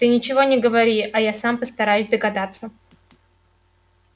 ты ничего не говори а я сам постараюсь догадаться